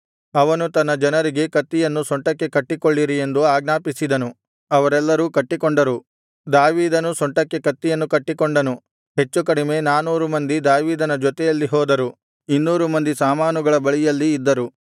ಅವನು ತನ್ನ ಜನರಿಗೆ ಕತ್ತಿಯನ್ನು ಸೊಂಟಕ್ಕೆ ಕಟ್ಟಿಕೊಳ್ಳಿರಿ ಎಂದು ಆಜ್ಞಾಪಿಸಿದನು ಅವರೆಲ್ಲರು ಕಟ್ಟಿಕೊಂಡರು ದಾವೀದನೂ ಸೊಂಟಕ್ಕೆ ಕತ್ತಿಯನ್ನು ಕಟ್ಟಿಕೊಂಡನು ಹೆಚ್ಚುಕಡಿಮೆ ನಾನೂರು ಮಂದಿ ದಾವೀದನ ಜೊತೆಯಲ್ಲಿ ಹೋದರು ಇನ್ನೂರು ಮಂದಿ ಸಾಮಾನುಗಳ ಬಳಿಯಲ್ಲಿ ಇದ್ದರು